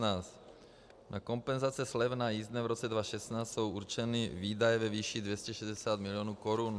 Na kompenzace slev na jízdné v roce 2016 jsou určeny výdaje ve výši 260 milionů korun.